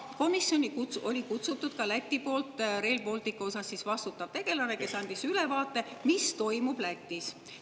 Komisjoni oli kutsutud ka Lätis Rail Balticu eest vastutav tegelane, kes andis ülevaate, mis toimub Lätis.